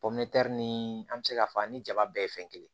ni an bɛ se k'a fɔ ani jaba bɛɛ ye fɛn kelen ye